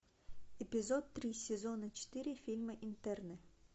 эпизод три сезона четыре фильма интерны